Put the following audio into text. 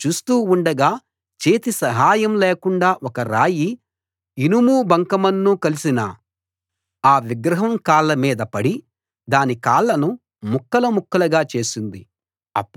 మీరు చూస్తూ ఉండగా చేతి సహాయం లేకుండా ఒక రాయి ఇనుము బంకమన్ను కలిసిన ఆ విగ్రహం కాళ్ళ మీద పడి దాని కాళ్ళను ముక్కలు ముక్కలుగా చేసింది